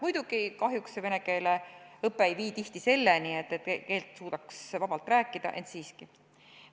Muidugi, kahjuks see vene keele õpe ei vii tihti selleni, et suudetaks keelt vabalt rääkida, ent siiski.